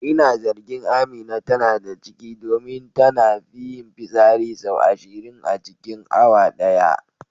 Ina zargin Amina tana da ciki domin tana fi yin fitsari sau ashirin a cikin awa daya.